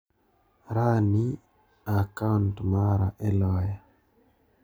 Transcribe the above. Ran'i a kaunt mara e loya.